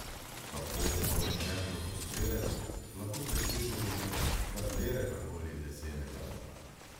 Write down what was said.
Tako oborožen lokostrelec lahko preseže domet kateregakoli lesenega loka.